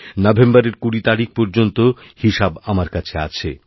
নভেম্বরের কুড়ি তারিখ পর্যন্ত হিসাব আমার কাছেআছে